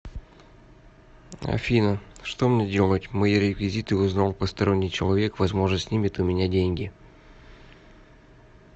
афина что мне делать мои реквизиты узнал посторонний человек возможно снимет у меня деньги